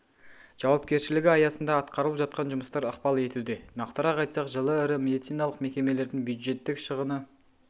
жауапкершілігі аясында атқарылып жатқан жұмыстар ықпал етуде нақтырақ айтсақ жылы ірі медициналық мекемелердің бюджеттік шығыны